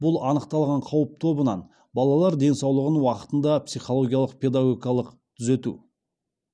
бұл анықталған қауіп тобынан балалар денсаулығын уақытында психологиялық педагогикалық түзету